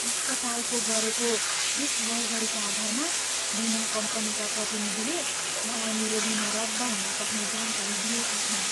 अस्पतालको गरेको यस गडबडीका आधारमा बिमा कम्पनीका प्रतिनिधिले मलाई मेरो बिमा रद्द हुन सक्ने जानकारी दिएका छन्।